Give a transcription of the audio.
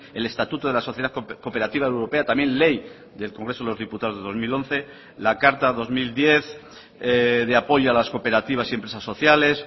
el estatuto de la sociedad cooperativa europea también ley del congreso de los diputados de dos mil once la carta dos mil diez de apoyo a las cooperativas y empresas sociales